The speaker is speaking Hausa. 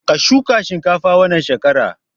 Ka shuka shinkafa wannan shekara!